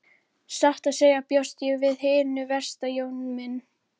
Satt að segja bjóst ég við hinu versta Jón minn.